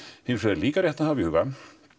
hins vegar er líka rétt að hafa í huga